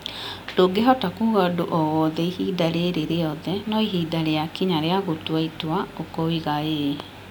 Ndũngĩhota kuuga ũndũ o wothe ihinda rĩrĩ rĩothe, na ihinda rĩakinya rĩa gũtua itua ũkoiga ĩĩ.